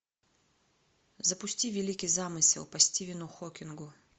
запусти великий замысел по стивену хокингу